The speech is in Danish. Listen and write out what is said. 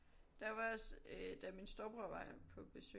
Der var også øh da min storebror var på besøg